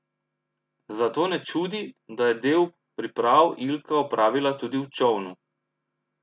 Zato ne čudi, da je del priprav Ilka opravila tudi v čolnu.